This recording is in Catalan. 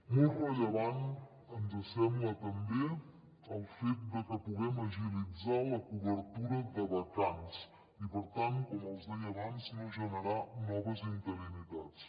molt rellevant ens sembla també el fet de que puguem agilitzar la cobertura de vacants i per tant com els deia abans no generar noves interinitats